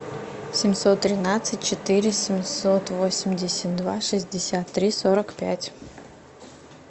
семьсот тринадцать четыре семьсот восемьдесят два шестьдесят три сорок пять